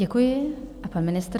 Děkuji, a pan ministr.